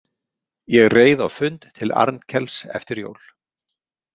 Ég reið á fund til Arnkels eftir jól.